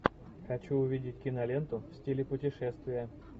хочу увидеть киноленту в стиле путешествие